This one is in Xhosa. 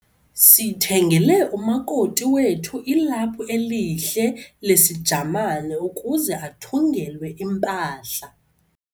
sithengele umakoti wethu ilaphu elihle lesiJamane ukuze athungelwe impahla.